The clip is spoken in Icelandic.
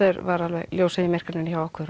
var alveg ljósið í myrkrinu hjá okkur